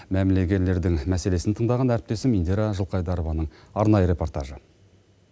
мәмлегерлердің мәселесін тыңдаған әріптесім индира жылқайдарованың арнайы репортажы